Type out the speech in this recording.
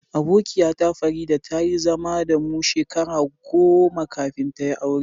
Abokiya ta, Farida, ta yi zama da mu shekaru goma kafin ta yi aure.